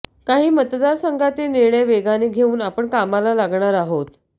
काही मतदारसंघातील निर्णय वेगाने घेऊन आपण कामाला लागणार आहोत